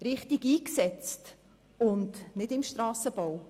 Diese müssen richtig eingesetzt werden und nicht im Strassenbau.